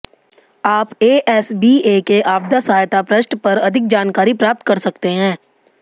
आप एसबीए के आपदा सहायता पृष्ठ पर अधिक जानकारी प्राप्त कर सकते हैं